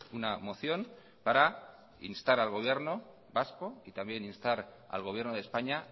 una moción para instar al gobierno vasco y también instar al gobierno de españa